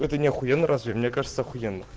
это не охуенно разве мне кажется охуенно